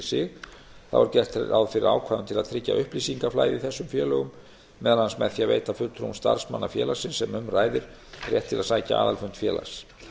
sig þá er gert ráð fyrir ákvæðum til að tryggja upplýsingaflæði í þessum félögum meðal annars með því að veita fulltrúum starfsmanna félagsins sem um ræðir rétt til að sækja aðalfund félags